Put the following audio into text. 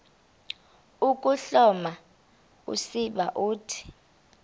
ukuhloma usiba uthi